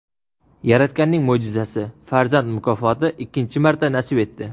Yaratganning mo‘jizasi — farzand mukofoti ikkinchi marta nasib etdi.